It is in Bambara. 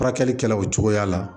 Furakɛli kɛla o cogoya la